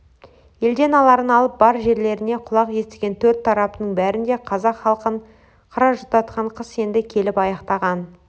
елден аларын алып бар жерлерде құлақ естіген төрт тараптың бәрінде қазақ халқын қыра жұтатқан қыс енді келіп аяқтаған